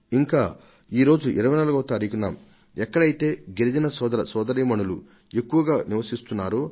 ఇంకా ఈరోజు 24వ తారీఖున ఎక్కడైతే గిరిజన సోదర సోదరీమణులు ఎక్కువగా నివసిస్తున్నారో